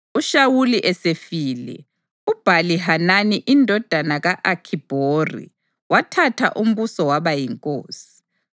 UShawuli esefile, uBhali-Hanani indodana ka-Akhibhori wathatha umbuso waba yinkosi.